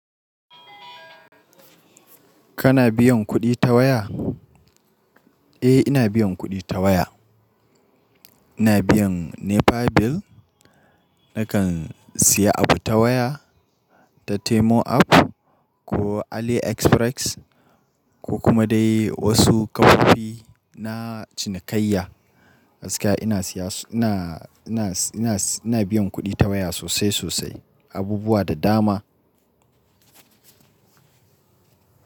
Kana biyan kuɗi ta waya? Eh ina biyan kuɗi ta waya. Ina biyan NEPA bill, nakan siya abu ta waya ta Temu app ko AliExpress ko kuma dai wasu kafofi na cinikayya. Gaskiya ina biyan kuɗi ta waya sosai sosai, abubuwa da dama.